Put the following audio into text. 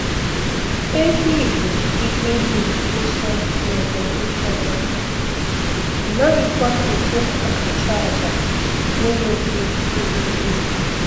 Ehi bụ ihe dị nsọ n'obodo ụfọdụ, a naghịkwa eji ha achụ aja na-enweghị nduzi.